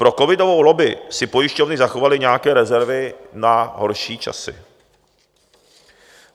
Pro covidovou lobby si pojišťovny zachovaly nějaké rezervy na horší časy.